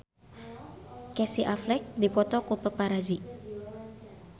Casey Affleck dipoto ku paparazi